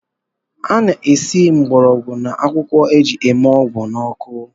E na-esi mgborogwu na akwụkwọ e ji eme ọgwụ n’ọkụ